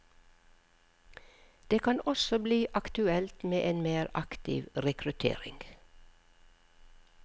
Det kan også bli aktuelt med en mer aktiv rekruttering.